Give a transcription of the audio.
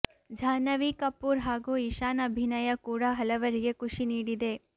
ಜಾಹ್ನವಿ ಕಪೂರ್ ಹಾಗೂ ಇಶಾನ್ ಅಭಿನಯ ಕೂಡ ಹಲವರಿಗೆ ಖುಷಿ ನೀಡಿದೆ